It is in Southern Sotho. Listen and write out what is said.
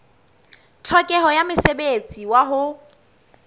tlhokeho ya mosebetsi wa ho